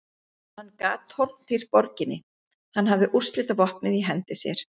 Hann gat tortímt borginni, hann hafði úrslitavopnið í hendi sér.